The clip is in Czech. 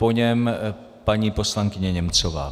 Po něm paní poslankyně Němcová.